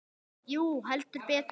Jú, heldur betur